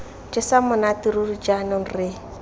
jesang monate ruri jaanong re